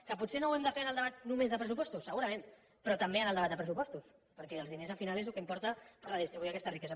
que potser no ho hem de fer en el debat només de pressupostos segurament però també en el debat de pressupostos perquè els diners al final és el que importa redistribuir aquesta riquesa